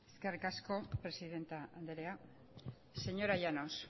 eskerrik asko presidente andrea señora llanos